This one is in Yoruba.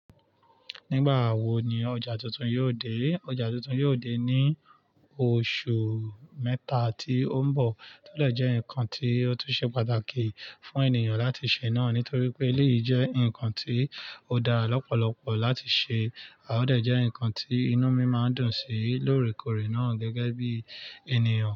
Nígbàwo ni ọjà tuntun yóò dé? Ọjà tuntun yóò dé ní oṣù mẹ́ta tí ó ń bọ̀. Tó dẹ̀ jẹ́ ǹkan tí ó tún ṣe pàtàkì fún ènìyàn láti ṣe náà, nítorí pé léyìí jẹ́ ǹkan tí ó dá lọ́pọ̀lọpọ̀ láti ṣe, a ó dẹ̀ jẹ́ ǹkan tí inú mi máa ń dùn sí lóòrèkóòrè náà gẹ́gẹ́ bí ènìyàn.